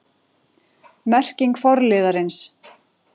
Merking forliðarins